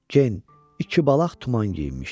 Gen iki balaq tuman geyinmişdi.